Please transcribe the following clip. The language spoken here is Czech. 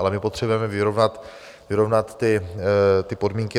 Ale my potřebujeme vyrovnat ty podmínky.